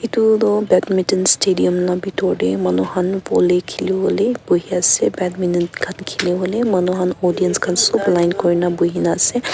itu toh badminton stadium la bitor te manu khan volley khilibole buhi ase badminton khan khilibole manu khan audience khan sob line kuri na buhina ase.